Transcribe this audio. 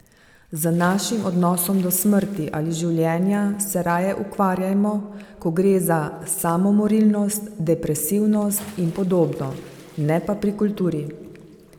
Z našim odnosom do smrti ali življenja se raje ukvarjajmo, ko gre za samomorilnost, depresivnost in podobno, ne pa pri kulturi.